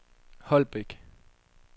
Holbæk